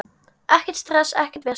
Ekkert stress, ekkert vesen.